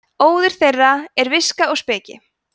óður þeirra er viska og speki